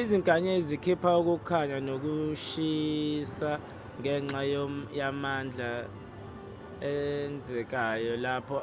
izinkanyezi zikhipha ukukhanya nokushisa ngenxa yamandla enzekayo lapho